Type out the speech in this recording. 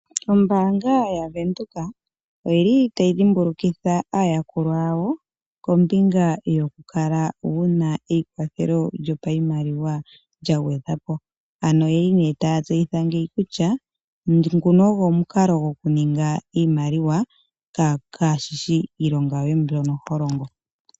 Ombanga ya Venduka oyeli tayi dhimbulukitha aayakulwa yawo koombinga yo kukala wuna eyi kwathelo lyo pa yimaliwa lya gwedhwapo ano oyeli ne ta tseyitha ngeyi kutya nguno ongo omukalo go kuninga iimaliwa kashishi iilonga yoye mbyo holongo.